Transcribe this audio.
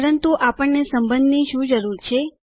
પરંતુ આપણને સંબંધની શું જરૂર છે